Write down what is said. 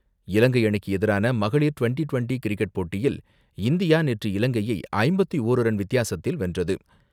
இலங்கை அணிக்கு எதிரான மகளிர் டிவெண்டி டிவெண்டி கிரிக்கெட் போட்டியில் இந்தியா நேற்று இலங்கையை ஐம்பத்து ஓரு ரன் வித்தியாசத்தில் வென்றது.